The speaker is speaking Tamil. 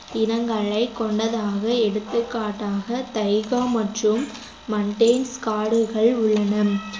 இனங்களைக் கொண்டதாக எடுத்துக்காட்டாக தைகா மற்றும் மன்ட்டேன் காடுகள் உள்ளன